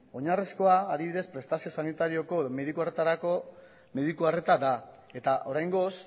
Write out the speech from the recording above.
oinarrizkoa adibidez prestazio sanitarioko mediku arretarako mediku arreta da eta oraingoz